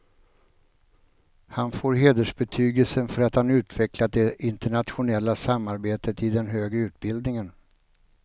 Han får hedersbetygelsen för att han utvecklat det internationella samarbetet i den högre utbildningen.